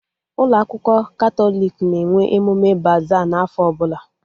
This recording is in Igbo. Ụlọ akwụkwọ Katọlik na-enwe emume baza n'afọ ọbụla